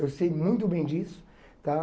Eu sei muito bem disso tá.